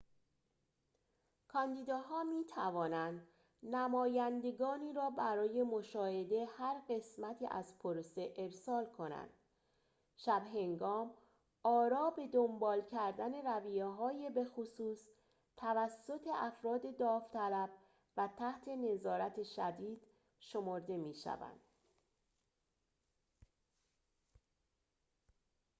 کاندیداها می‌توانند نمایندگانی را برای مشاهده هر قسمتی از پروسه ارسال کنند شب‌هنگام آراء با دنبال کردن رویه‌های بخصوص توسط افراد داوطلب و تحت نظارت شدید شمرده می‌شوند